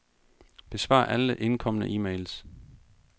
Besvar alle indkomne e-mails.